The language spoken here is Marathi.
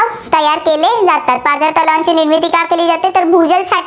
तयार केले जातात. पाझर तलावांची निर्मिती का केली जाते? तर भूजल साठा